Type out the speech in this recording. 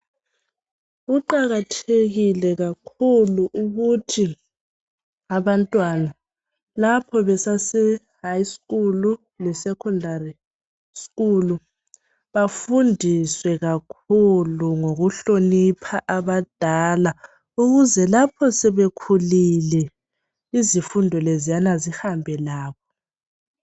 Kuqakathekile kakhulu ukuthi abantwana lapho basasehigh school le secondary school bafundiswe kakhulu ngokuhlonipha abadala ukuze lapho sebekhulile izifundo lezana zihambe labo.